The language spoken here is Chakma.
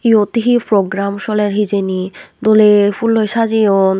yot he program soler hijeni dole pulloi saje yon.